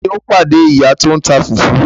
Taani ó pàdé ìyá tòun tá fùfú